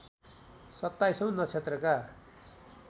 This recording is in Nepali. सत्ताईसौँ नक्षत्रका